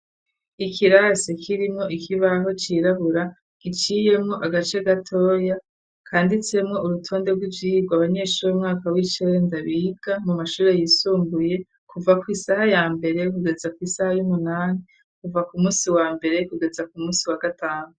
Ikirasi kirimo ikibaho cirabura giciyemo agace gatoya. Kanditsemwo urutonde rwivyirwa abanyeshuri mwaka wicerenda biga mu mashuri yisumbuye kuva kwisaha ya mbere kugeza ku isaha y'umunani kuva ku musi wa mbere kugeza ku musi wa gatanu.